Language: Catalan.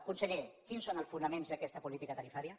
conseller quins són els fonaments d’aquesta política tarifària